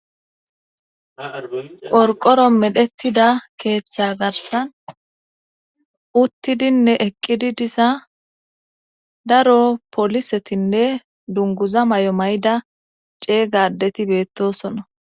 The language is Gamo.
Qorqoro medhettida keeththa garsan uttidinne eqqidi disa daro polisetinne dunguza may'o may'da cee gadeti beettosona.